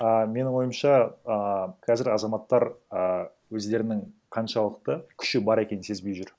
а менің ойымша ааа қазір азаматтар а өздерінің қаншалықты күші бар екенін сезбей жүр